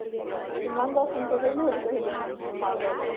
কিমান বাৰ phone কৰিছে বুলি ভাবিছʼ সেইটো কাৰণে?